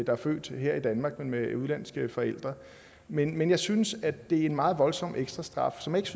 er født her i danmark af udenlandske forældre men men jeg synes at det er en meget voldsom ekstra straf som ikke